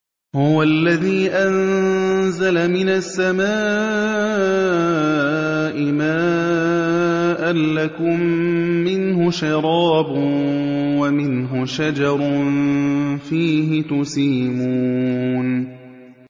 هُوَ الَّذِي أَنزَلَ مِنَ السَّمَاءِ مَاءً ۖ لَّكُم مِّنْهُ شَرَابٌ وَمِنْهُ شَجَرٌ فِيهِ تُسِيمُونَ